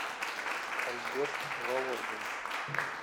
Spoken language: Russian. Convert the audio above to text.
альберт володин